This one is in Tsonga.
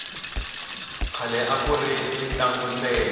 khale akuri ni mintlangu ntsena